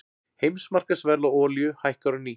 Heimsmarkaðsverð á olíu hækkar á ný